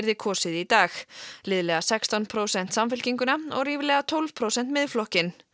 kosið í dag liðlega sextán prósent Samfylkinguna og ríflega tólf prósent Miðflokkinn